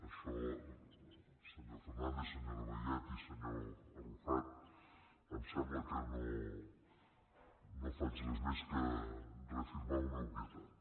això senyor fernàndez senyora vallet i senyor arrufat em sembla que no faig res més que reafirmar una obvietat